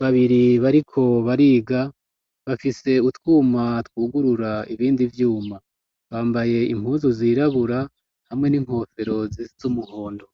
babiri bariko bariga bafise utwuma twugurura ibindi vyuma, bambaye impuzu zirabura hamwe n'inkofero zisiz'umuhondo.